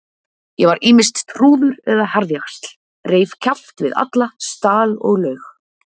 Ég var ýmist trúður eða harðjaxl, reif kjaft við alla, stal og laug.